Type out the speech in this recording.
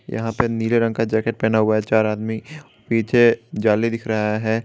यहां पे नीले रंग का जैकेट पहना हुआ है चार आदमी पिछे जाली दिख रहा है।